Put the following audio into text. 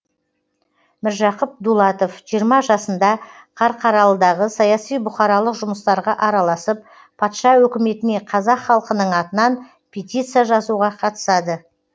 міржақып дулатов жиырма жасында қарқаралыдағы саяси бұқаралық жұмыстарға араласып патша өкіметіне қазақ халқының атынан петиция жазуға қатысады